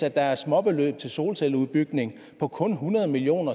er småbeløb til solcelleudbygning på kun hundrede million